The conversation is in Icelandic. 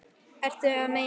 Ertu að meina.